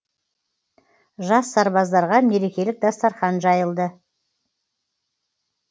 жас сарбаздарға мерекелік дастархан жайылды